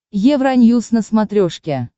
евроньюс на смотрешке